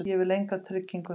Ég vil enga tryggingu.